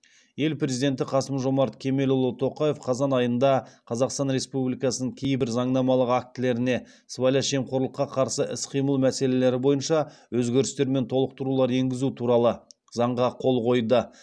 ел президенті қасым жомарт кемелұлы тоқаев қазан айында қазақстан республикасының кейбір заңнамалық актілеріне сыбайлас жемқорлыққа қарсы іс қимыл мәселелері бойынша өзгерістер мен толықтырулар енгізу туралы заңға қол қойды